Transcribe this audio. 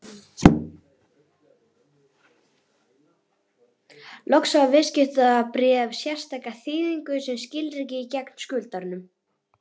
Loks hafa viðskiptabréf sérstaka þýðingu sem skilríki gegn skuldaranum.